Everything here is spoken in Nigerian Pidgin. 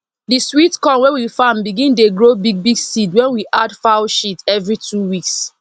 the sweet corn wey we farm begin dey grow big big seed when we add foul sheat every two weeks